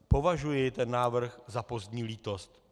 Považuji ten návrh za pozdní lítost.